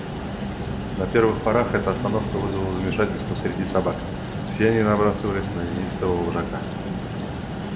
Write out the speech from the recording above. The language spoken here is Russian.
на первых порах эта остановка вызывала замешательство среди собак все они набрасывались на ненавистного вожака